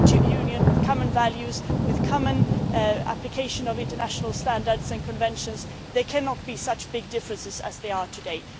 In a common Union, with common values and a common application of international standards and conventions, there cannot be such differences as there are today.